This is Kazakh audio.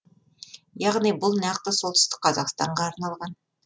яғни бұл нақты солтүстік қазақстанға арналған